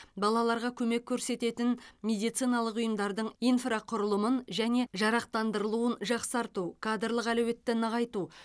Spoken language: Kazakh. балаларға көмек көрсететін медициналық ұйымдардың инфрақұрылымын және жарақтандырылуын жақсарту кадрлық әлеуетті нығайту